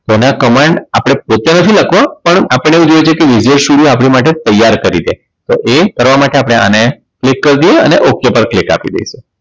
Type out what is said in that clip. તો એના command આપણે પોતે નથી લખવો પણ આપણને એવું જોઈ છે કે વિદેશીઓ આપણી માટે ત્યાર કરી છે તો એ કરવા માટે આપણે આને click કરી દઈએ અને ok પર click આપી દઈશું